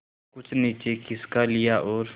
कुछ नीचे खिसका लिया और